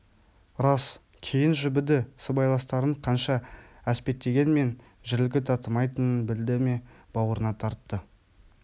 рас кейін жібіді сыбайластарын қанша әспеттегенмен жілігі татымайтынын білді ме бауырына тартты